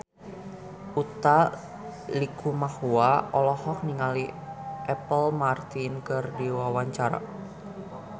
Utha Likumahua olohok ningali Apple Martin keur diwawancara